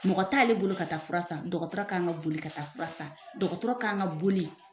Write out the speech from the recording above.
Mɔgɔ t'ale bolo ka taa fura san, dɔgɔtɔrɔ kan ka boli ka taa fura san, dɔgɔtɔrɔ kan ka boli.